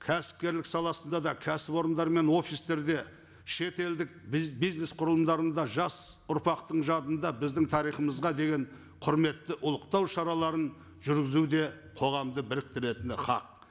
кәсіпкерлік саласында да кәсіпорындар мен офистерде шет елдік бизнес құрылымдарында жас ұрпақтың жадында біздің тарихымызға деген құрметті ұлықтау шараларын жүргізу де қоғамды біріктіретіні хақ